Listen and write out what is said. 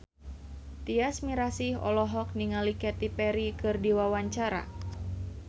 Tyas Mirasih olohok ningali Katy Perry keur diwawancara